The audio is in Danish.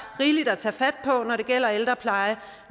rigeligt at tage fat på når det gælder ældrepleje